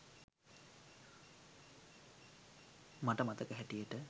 මට මතක හැටියට